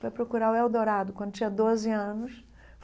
para procurar o Eldorado, quando tinha doze anos.